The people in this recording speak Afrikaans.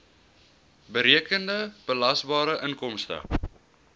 berekende belasbare inkomste